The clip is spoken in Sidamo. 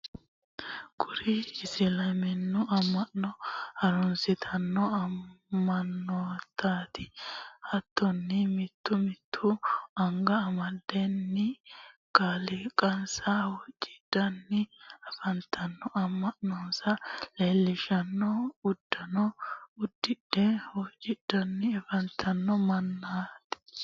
kuri isiliminnu ama'no harunsitanno mannootaati. hattonni mittu mittu anga amadatenni kaaliqansa huuccidhanni afantanno. ama'nonsa leelishanno uddano uddidhe huuccidhanni afantanno mannaati.